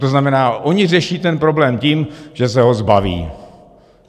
To znamená, oni řeší ten problém tím, že se ho zbaví.